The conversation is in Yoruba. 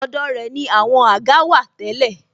Ọ̀dọ̀ rẹ ni àwọn àga wà tẹ́lẹ̀